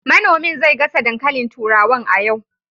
Manomin zai gasa dankalin turawan a yau